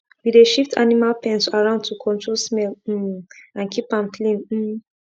we dey shift animal pens around to control smell um and keep am clean um